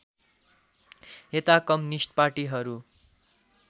यता कम्युनिष्ट पार्टीहरू